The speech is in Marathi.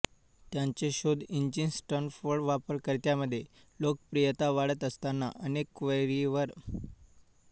त्यांचे शोध इंजिन स्टॅनफोर्ड वापरकर्त्यांमध्ये लोकप्रियता वाढत असतानाअनेक क्वेरीवर प्रक्रिया करण्यासाठी अतिरिक्त सर्व्हरचा प्रयोग केला